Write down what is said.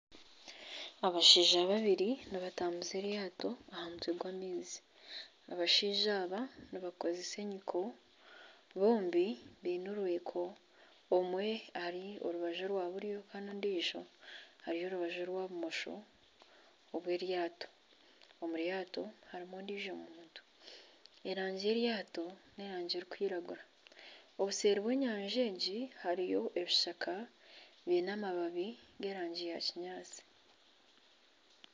Abashaija babiri nibatambuza eryaato aha mutwe gw'amaizi, abashaija aba nibakozesa enyiko bombi baine orwiko, omwe ari orubaju orwa buryo kandi ondiijo ari aha rubaju orwa bumosho obwa eryato, omu ryato harimu ondiijo omuntu erangi y'eryaato ni erangi erikwiragura, obuseeri bw'enyanja egi hariyo ebishaka biine amababi g'erangi ya kinyaantsi.